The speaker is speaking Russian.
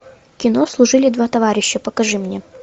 кино служили два товарища покажи мне